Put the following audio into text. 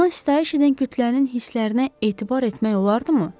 Ona istəyiş edən kütlənin hisslərinə etibar etmək olardımı?